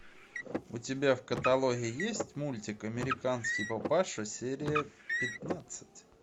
у тебя в каталоге есть мультик американский папаша серия пятнадцать